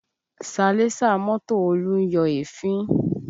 Salẹ́sà mọ́tò Olú ń yọ èéfín